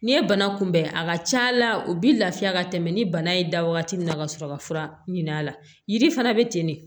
N'i ye banakunbɛn a ka ca la u bɛ lafiya ka tɛmɛ ni bana ye da wagati min na ka sɔrɔ ka fura ɲin'a la yiri fana bɛ ten de